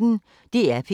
DR P1